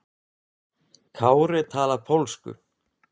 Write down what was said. Kári talar pólsku.